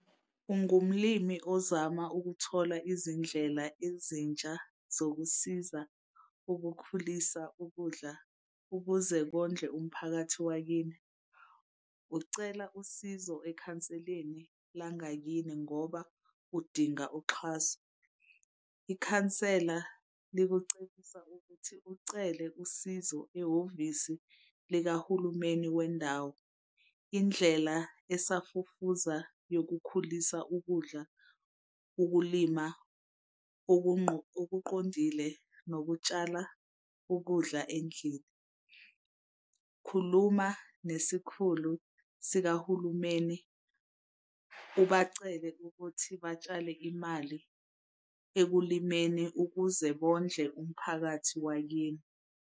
Ungumlimi ozama ukuthola izindlela ezintsha zokusiza ukukhulisa ukudla ukuze kondle umphakathi wakini. Ucela usizo ekhanseleni langakini ngoba udinga uxhaso. Ikhansela likucebisa ukuthi ucele usizo ehhovisi likahulumeni wendawo. Indlela esafufuza yokukhulisa ukudla ukulima okuqondile nokutshala ukudla endlini. Khuluma nesikhulu sikahulumeni ubacele ukuthi batshale imali ekulimeni ukuze bondle umphakathi wakini.